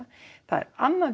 það er annað